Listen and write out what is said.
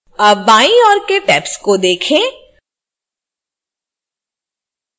अब बाई ओर के tabs को देखें